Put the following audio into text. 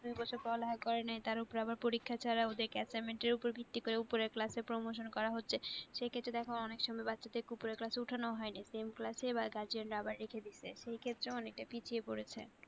দু তিন বছরের পড়ালেখা করেনাই তার ওপর আবার পরীক্ষা ছাড়া ওদের কে assignment এর ওপর ভিত্তি করে ওপরের class এ promotion করা হচ্ছে সেক্ষেত্রে দেখো অনেক সময় বাচ্চাদের কে ওপরের class এ ওঠানো হয়নি sameclass ই guardian রা আবার রেখে দিয়েছে সেক্ষেত্রে অনেকটা পিছিয়ে পড়েছে।